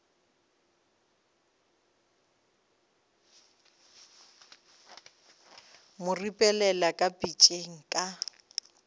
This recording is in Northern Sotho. mo ripelela ka pitšeng ka